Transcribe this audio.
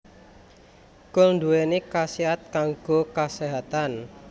Kul nduwéni khasiat kanggo kaséhatan